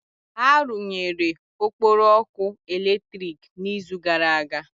Ha rụnyere Okporo ọkụ eletrik n'izu gara aga?